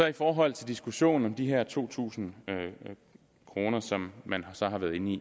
i forhold til diskussionen om de her to tusind kr som man så har været inde